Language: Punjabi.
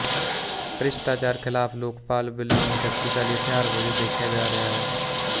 ਭ੍ਰਿਸ਼ਟਾਚਾਰ ਖ਼ਿਲਾਫ਼ ਲੋਕਪਾਲ ਬਿੱਲ ਨੂੰ ਸ਼ਕਤੀਸ਼ਾਲੀ ਹਥਿਆਰ ਵਜੋਂ ਦੇਖਿਆ ਜਾ ਰਿਹਾ ਹੈ